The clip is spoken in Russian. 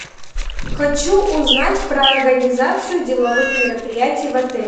хочу узнать про организацию деловых мероприятий в отеле